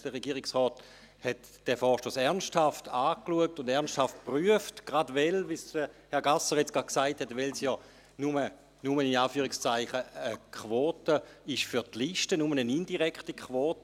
Der Regierungsrat sah sich diesen Vorstoss ernsthaft an und prüfte diesen ernsthaft, gerade weil es – wie es Herr Gasser eben gesagt hat – in Anführungszeichen nur eine Quote für die Liste ist, also nur eine indirekte Quote.